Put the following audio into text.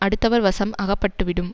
அடுத்தவர் வசம் அகப்பட்டுவிடும்